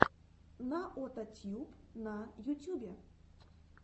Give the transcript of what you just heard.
наотатьюб на ютюбе